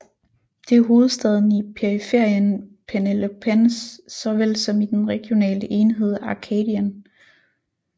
Det er hovedstaden i Periferien Peloponnes såvel som i den regionale enhed Arcadien